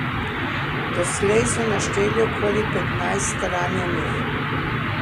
Doslej so našteli okoli petnajst ranjenih.